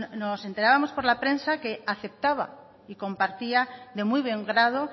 nos enterábamos por la prensa que aceptaba y compartía de muy buen grado